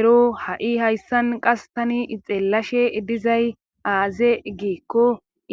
Ero ha'i hayssan qas tani ixellashe dizay aaze giikko